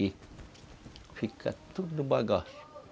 E fica tudo bagaço.